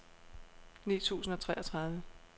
ni tusind og treogtredive